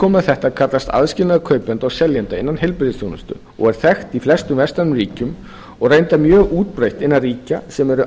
fyrirkomulag þetta kallast aðskilnaður kaupenda og seljenda innan heilbrigðisþjónustu og er þekkt í flestum vestrænum ríkjum og reyndar mjög útbreitt innan ríkja sem eru